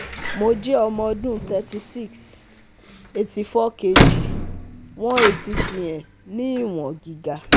Mo jv] ọmọ ọdun thirty six, eighty four kg, one eighty cm ni iwọ̀n giga